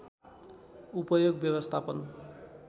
उपयोग व्यवस्थापन